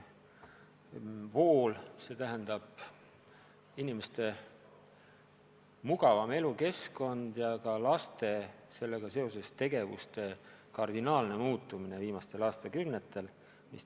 Vool – see on inimeste mugavam elukeskkond ja ka laste tegevuste kardinaalne muutumine viimastel aastakümnetel.